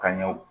Ka ɲɛw